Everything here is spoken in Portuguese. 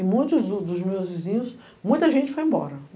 E muitos dos meus vizinhos... Muita gente foi embora.